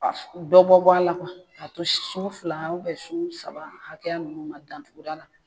ka dɔ bɔ bɔ a la kuwa ka to sun fila ubiyɛn sun saba hakɛya nunnu ma dandugura la